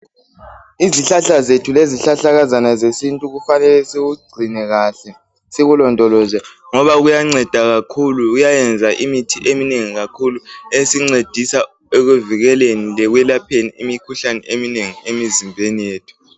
Izihlahla zethu lezihlahlakazana zesintu kufanele sikugcine kahle .Sikulondoloze ngoba kuyanceda kakhulu kuyayenza imithi eminengi kakhulu .Esincedisa ekuvikeleni lekwelapheni imikhuhlane eminengi emizimbeni yethu.